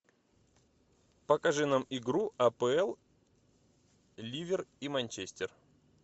покажи нам игру апл ливер и манчестер